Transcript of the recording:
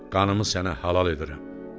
Qanımı sənə halal edirəm.